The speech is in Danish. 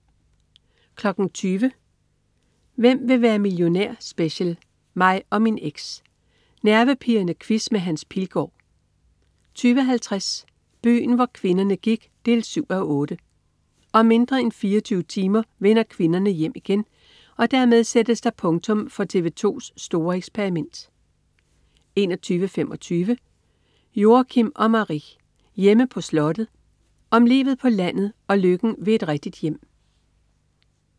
20.00 Hvem vil være millionær? Special. Mig og min eks. Nervepirrende quiz med Hans Pilgaard 20.50 Byen hvor kvinderne gik 7:8. Om mindre end 24 timer vender kvinderne hjem igen, og dermed sættes der punktum for TV 2s store eksperiment 21.25 Joachim & Marie. Hjemme på slottet. Om livet på landet og lykken ved et rigtigt hjem